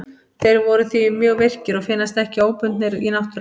Þeir eru því mjög virkir og finnast ekki óbundnir í náttúrunni.